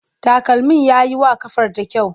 Takalmin ya yi wa ƙafarta kyau.